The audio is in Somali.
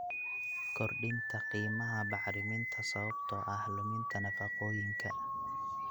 Kordhinta qiimaha bacriminta sababtoo ah luminta nafaqooyinka.